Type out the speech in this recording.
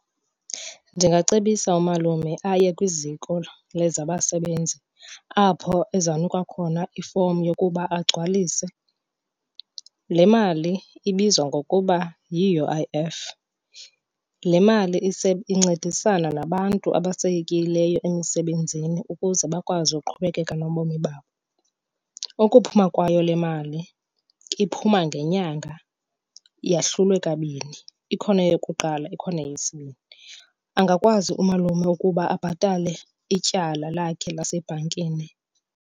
Ndingacebisa umalume aye kwiZiko lezaBasebenzi apho ezawunikwa khona ifomu yokuba agcwalise. Le mali ibizwa ngokuba yi-U_I_F. Le mali incedisana nabantu abasayekileyo emisebenzini ukuze bakwazi uqhubekeka nobomi babo. Ukuphuma kwayo le mali iphuma ngenyanga yahlulwe kabini, ikhona eyokuqala ikhona eyesibini. Angakwazi umalume ukuba abhatale ityala lakhe lasebhankini.